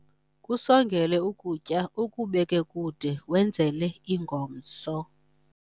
kusongele ukutya ukubeke kude wenzele ingomso